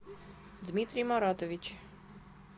дмитрий маратович